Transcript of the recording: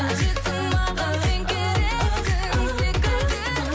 қажетсің маған сен керексің секілді